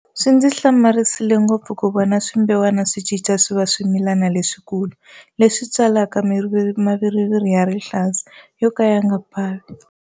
Swi ndzi hlamarisile ngopfu ku vona swimbewani swi cinca swi va swimilani leswi kulu leswi tswalaka maviriviri ya rihlaza yo ka ya nga bavi.